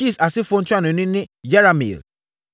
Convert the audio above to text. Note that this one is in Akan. Kis asefoɔ ntuanoni ne Yerahmeel.